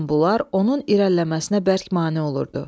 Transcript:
Bütün bunlar onun irəliləməsinə bərk mane olurdu.